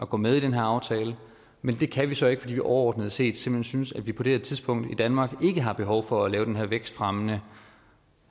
gå med i den her aftale men det kan vi så ikke fordi vi overordnet set simpelt hen synes at vi på det her tidspunkt i danmark ikke har behov for at lave den her vækstfremmende